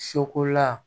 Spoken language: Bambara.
Sokola